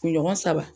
Kunɲɔgɔn saba